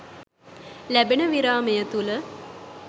ලැබෙන විරාමය තුළ